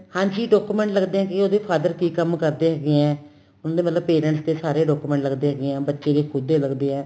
ਹਾਂਜੀ document ਲੱਗਦੇ ਹੈਗੇ ਉਹਦੇ father ਕੀ ਕੰਮ ਕਰਦੇ ਹੈਗੇ ਏ ਹੁਣ ਤਾਂ ਮਤਲਬ parents ਦੇ ਸਾਰੇ documents ਲੱਗਦੇ ਹੈਗੇ ਏ ਬੱਚੇ ਦੇ ਖੁੱਦ ਦੇ ਲੱਗਦੇ ਏ